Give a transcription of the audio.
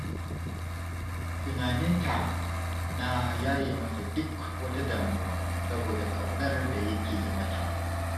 Tunanin ta na yaye masa duk wata damuwa saboda ƙaunar da yake yi mata.